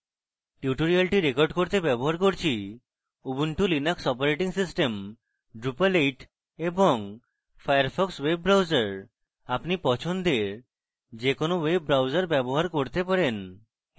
tutorial record করতে ব্যবহার করছি Ubuntu Linux operating system drupal 8 এবং ফায়ারফক্স ওয়েব ব্রাউজার আপনি পছন্দের যে কোনো ওয়েব ব্রাউজার ব্যবহার করতে পারেন